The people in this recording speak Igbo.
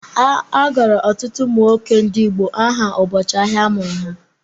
A gụrụ ọtụtụ ụmụ nwoke ndị Igbo aha ụbọchị ahịa a mụrụ ha.